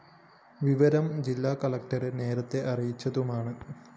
വിവരം ജില്ലാ കളക്ടറെ നേരത്തെ അറിയിച്ചതുമാണ്